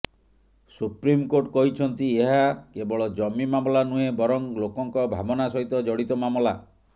supreme court କହିଛନ୍ତି ଏହା କେବଳ ଜମି ମାମଲା ନୁହେଁ ବରଂ ଲୋକଙ୍କ ଭାବନା ସହିତ ଜଡିତ ମାମଲା